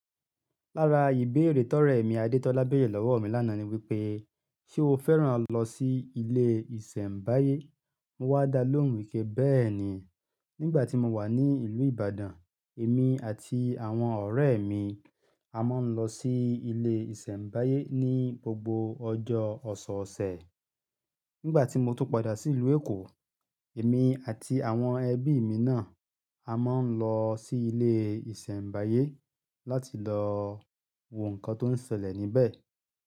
Lára ìbéèrè tọrẹ ẹ̀ mi Adetola bẹ̀rẹ̀ lọ́wọ́ mi lánàá ni wípé, "Ṣé o fẹ́ràn lọ sí ilé ìsẹ̀mbáyé?" Mo wá dá lóhùn wí pé, "Bẹ́ẹ̀ ni, nígbà tí mo wà ní ìlú Ìbàdàn, èmi àti àwọn ọ̀rẹ́ mi a máa ń lọ sí ilé ìsẹ̀mbáyé ní gbogbo ọjọ́ ọ̀sọ̀ọ̀sẹ̀. Nígbà tí mo tún padà sí ìlú Èkó, èmi àti àwọn ẹbí mi náà a máa ń lọ sí ilé ìsẹ̀mbáyé láti lọ wo nǹkan tó ń ṣẹlẹ̀ níbẹ̀."